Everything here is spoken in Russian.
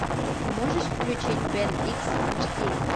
ты можешь включить бен икс аш ди